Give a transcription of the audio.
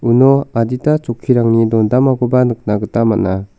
uno adita chokkirangni dondamakoba nikna gita man·a.